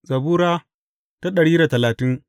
Zabura Sura dari da talatin